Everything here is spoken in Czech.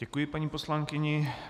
Děkuji paní poslankyni.